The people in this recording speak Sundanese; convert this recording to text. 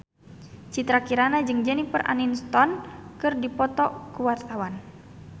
Citra Kirana jeung Jennifer Aniston keur dipoto ku wartawan